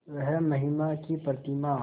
वह महिमा की प्रतिमा